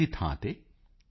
ਦੀ ਥਾਂ ਤੇ ਈ